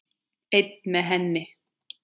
Einn með henni.